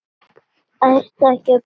Ert ekki að koma?